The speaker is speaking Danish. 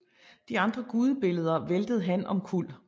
De andre gudebilleder væltede han omkuld